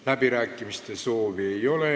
Läbirääkimiste soovi ei ole.